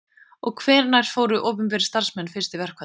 Og hvenær fóru opinberir starfsmenn fyrst í verkfall?